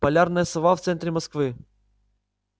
полярная сова в центре москвы